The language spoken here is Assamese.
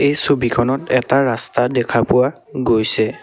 এই ছবিখনত এটা ৰাস্তা দেখা পোৱা গৈছে।